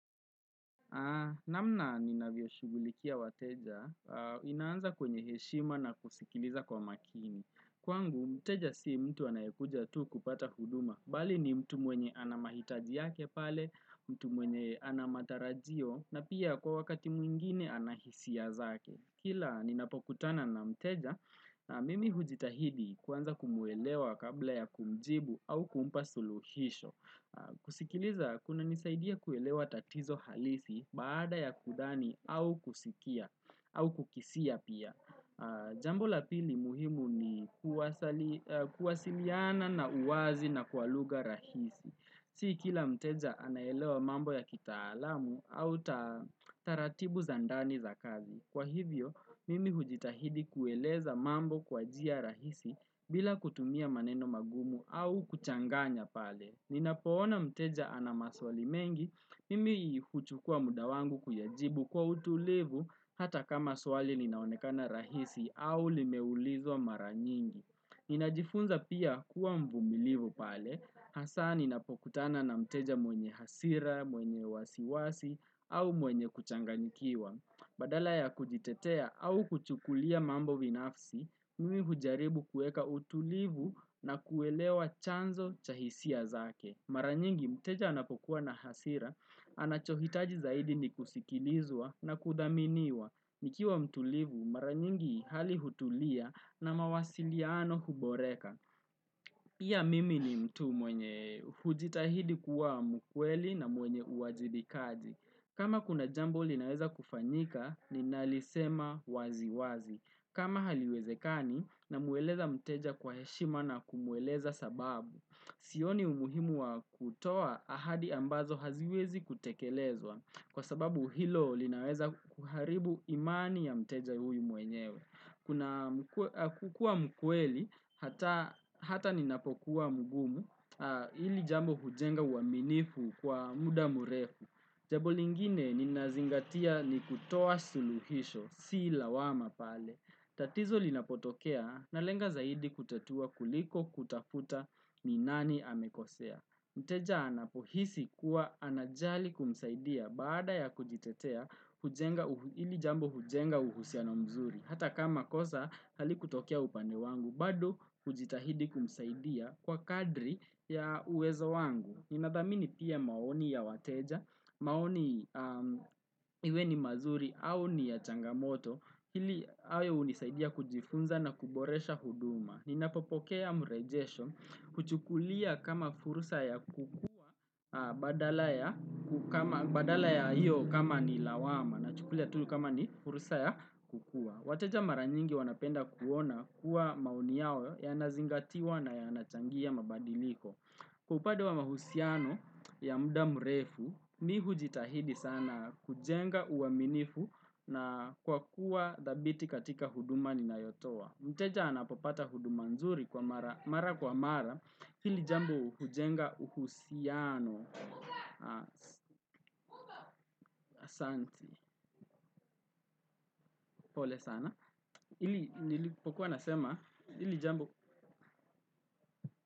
Namna ninavyo shugulikia wateja, inaanza kwenye heshima na kusikiliza kwa makini. Kwangu, mteja si mtu anayekuja tu kupata huduma. Bali ni mtu mwenye anamahitaji yake pale, mtu mwenye anamatarajio, na pia kwa wakati mwingine anahisia zake. Kila, ninapokutana na mteja, na mimi hujitahidi kuanza kumuelewa kabla ya kumjibu au kumpa suluhisho. Kusikiliza kuna nisaidia kuelewa tatizo halisi baada ya kudhani au kusikia au kukisia pia Jambo la pili muhimu ni kuwasiliana na uwazi na kwa lugha rahisi Si kila mteja anaelewa mambo ya kitaalamu au taratibu za ndani za kazi Kwa hivyo mimi hujitahidi kueleza mambo kwa jia rahisi bila kutumia maneno magumu au kuchanganya pale Ninapoona mteja ana maswali mengi, mimi huchukua muda wangu kuyajibu kwa utulivu hata kama swali linaonekana rahisi au limeulizwa mara nyingi. Ninajifunza pia kuwa mvumilivu pale, hasa ninapokutana na mteja mwenye hasira, mwenye wasiwasi au mwenye kuchanganyikiwa. Badala ya kujitetea au kuchukulia mambo vinafsi, mimi hujaribu kueka utulivu na kuelewa chanzo cha hisia zake. Maranyingi mteja anapokuwa na hasira, anachohitaji zaidi ni kusikilizwa na kudhaminiwa. Nikiwa mtulivu, maranyingi hali hutulia na mawasiliano huboreka. Pia mimi ni mtu mwenye hujitahidi kuwa mkweli na mwenye uajibikaji. Kama kuna jambo linaweza kufanyika ni nalisema wazi wazi. Kama haliwezekani na mweleza mteja kwa heshima na kumweleza sababu. Sioni umuhimu wa kutoa ahadi ambazo haziwezi kutekelezwa. Kwa sababu hilo linaweza kuharibu imani ya mteja huyu mwenyewe. Kukua mkweli, hata ninapokuwa mugumu, hili jambo hujenga uwaminifu kwa muda murefu. Jambo lingine ninazingatia ni kutoa suluhisho, si lawama pale. Tatizo linapotokea, na lenga zaidi kutatua kuliko kutafuta ni nani amekosea. Mteja anapohisi kuwa anajali kumsaidia baada ya kujitetea hili jambo hujenga uhusiano mzuri. Hata kama kosa halikutokea upande wangu, bado hujitahidi kumsaidia kwa kadri ya uwezo wangu Ninathamini pia maoni ya wateja, maoni iwe ni mazuri au ni ya changamoto Hili awe hunisaidia kujifunza na kuboresha huduma Ninapopokea mrejesho huchukulia kama fursa ya kukua badala ya hiyo kama ni lawama na chukulia tu ni kama ni furusa ya kukua wateja mara nyingi wanapenda kuona kuwa maoni yao yanazingatiwa na yanachangia mabadiliko. Kwa upande wa mahusiano ya muda mrefu, mi hujitahidi sana kujenga uwaminifu na kwa kuwa dhabiti katika huduma ni nayotoa. Mteja anapopata huduma nzuri kwa mara kwa mara hili jambo hujenga uhusiano. Asanti pole sana ili nilipokuwa nasema ili jambo.